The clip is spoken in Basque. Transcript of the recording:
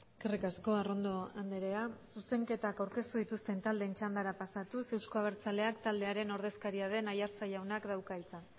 eskerrik asko arrondo andrea zuzenketak aurkeztu dituzten taldeen txandara pasatuz euzko abertzaleak taldearen ordezkaria den aiartza jaunak dauka hitza